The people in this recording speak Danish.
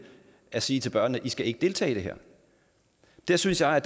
at sige til børnene i skal ikke deltage i det her der synes jeg